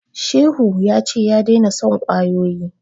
Shehu ya ce ya daina son kwayoyi